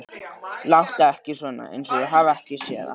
Láttu ekki svona, einsog ég hafi ekki séð það.